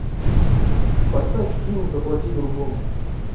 поставь фильм заплати другому